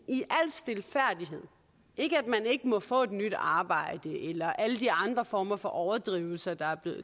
i al stilfærdighed ikke at man ikke må få et nyt arbejde eller alle de andre former for overdrivelser der